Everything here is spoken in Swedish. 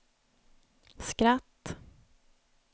skratt